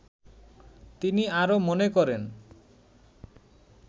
তিনি আরো মনে করেন